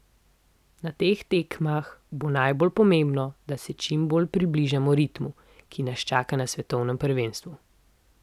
Na teh tekmah bo najbolj pomembno, da se čim bolj približamo ritmu, ki nas čaka na svetovnem prvenstvu.